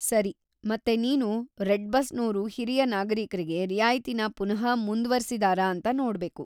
ಸರಿ, ಮತ್ತೆ ನೀನು ರೆಡ್‌ ಬಸ್‌ನೋರು ಹಿರಿಯ ನಾಗರಿಕ್ರಿಗೆ ರಿಯಾಯ್ತಿನ ಪುನಃ ಮುಂದ್ವರ್ಸಿದಾರ ಅಂತ ನೋಡ್ಬೇಕು.